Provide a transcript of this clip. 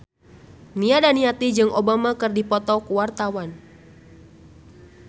Nia Daniati jeung Obama keur dipoto ku wartawan